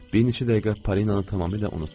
Bir neçə dəqiqə Polinanı tamamilə unutdum.